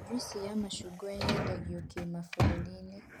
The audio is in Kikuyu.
Njuici ya macungwa yendagio kĩmabũrũri